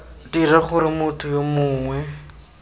dira gore motho yo mongwe